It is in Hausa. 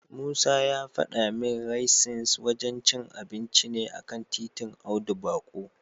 Musa ya fada min Raisins wajen cin abinci ne a kan titin Audu Bako.